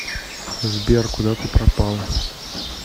сбер куда ты пропал